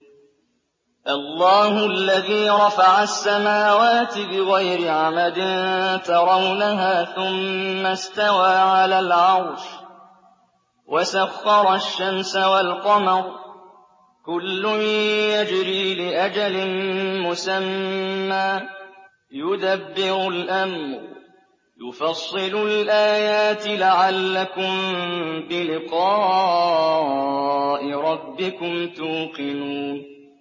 اللَّهُ الَّذِي رَفَعَ السَّمَاوَاتِ بِغَيْرِ عَمَدٍ تَرَوْنَهَا ۖ ثُمَّ اسْتَوَىٰ عَلَى الْعَرْشِ ۖ وَسَخَّرَ الشَّمْسَ وَالْقَمَرَ ۖ كُلٌّ يَجْرِي لِأَجَلٍ مُّسَمًّى ۚ يُدَبِّرُ الْأَمْرَ يُفَصِّلُ الْآيَاتِ لَعَلَّكُم بِلِقَاءِ رَبِّكُمْ تُوقِنُونَ